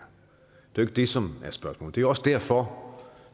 det er det som er spørgsmålet det er også derfor